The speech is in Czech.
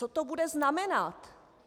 Co to bude znamenat?